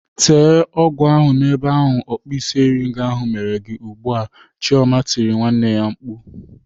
Tee ọgwụ ahụ n'ebe ahụ ọkpụisieringo ahụ mere gị ugbu a! "Chioma tirile nwanne ya mkpu.